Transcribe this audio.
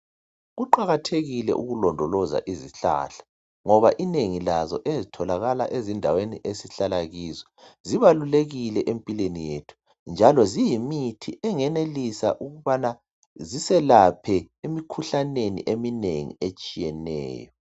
Kuqakathekile ukulondoloza izihlahla ngoba inengi lazo ezitholakala ezindaweni esihlala kizo zibalulekile empilweni yethu njalo ziyimithi engenelisa ukubana ziselaphe emikhuhlaneni eminengi etshiyeneyo.